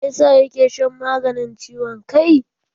Me yasa ya ke shan maganin ciwon kai?